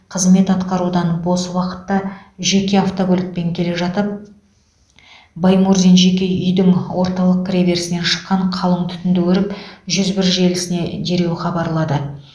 қызмет атқарудан бос уақытта жеке автокөлікпен келе жатып баймурзин жеке үйдің орталық кіреберісінен шыққан қалың түтінді көріп жүз бір желісіне дереу хабарлады